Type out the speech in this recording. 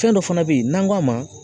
Fɛn dɔ fana bɛ yen n'an k'a ma